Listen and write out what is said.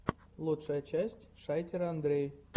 лучшая часть шайтер андрей